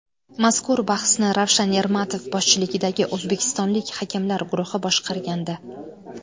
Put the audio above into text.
Mazkur bahsni Ravshan Ermatov boshchiligidagi o‘zbekistonlik hakamlar guruhi boshqargandi.